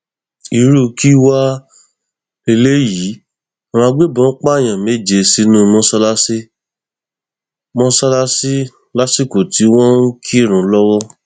irú kí wàá lélẹyìí àwọn agbébọn pààyàn méje sínú mọṣáláṣí mọṣáláṣí lásìkò tí wọn ń kírun lọwọ